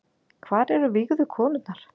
Hvar eru vígðu konurnar